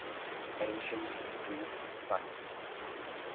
ancient greek sites